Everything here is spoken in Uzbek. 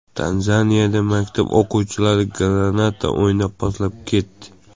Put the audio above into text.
Tanzaniyada maktab o‘quvchilari granata o‘ynab, portlab ketdi.